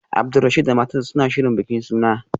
Abdulrasheed da matarsa ​​suna shirin bikin suna